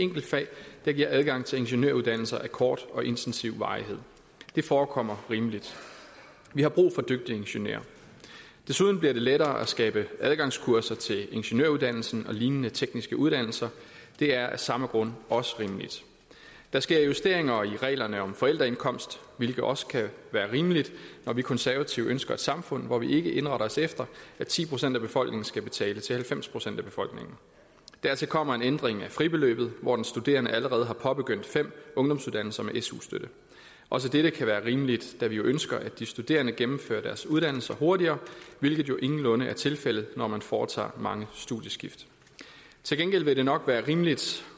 enkeltfag der giver adgang til ingeniøruddannelser af kort og intensiv varighed det forekommer rimeligt vi har brug for dygtige ingeniører desuden bliver det lettere at skabe adgangskurser til ingeniøruddannelsen og lignende tekniske uddannelser det er af samme grund også rimeligt der sker justeringer i reglerne om forældreindkomst hvilket også kan være rimeligt når vi konservative ønsker et samfund hvor vi ikke indretter os efter at ti procent af befolkningen skal betale til halvfems procent af befolkningen dertil kommer en ændring af fribeløbet i hvor den studerende allerede har påbegyndt fem ungdomsuddannelser med su støtte også dette kan være rimeligt da vi jo ønsker at de studerende gennemfører deres uddannelser hurtigere hvilket ingenlunde er tilfældet når man foretager mange studieskift til gengæld vil det nok være rimeligt